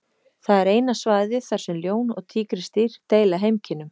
Það er eina svæðið þar sem ljón og tígrisdýr deila heimkynnum.